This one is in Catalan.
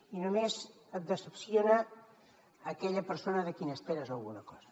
i només et decepciona aquella persona de qui n’esperes alguna cosa